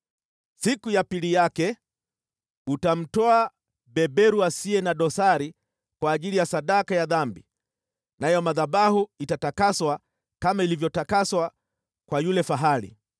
“Siku ya pili yake utamtoa beberu asiye na dosari kwa ajili ya sadaka ya dhambi, nayo madhabahu itatakaswa kama ilivyotakaswa kwa yule fahali.